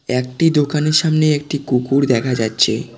একটি দোকানের সামনে একটি কুকুর দেখা যাচ্ছে।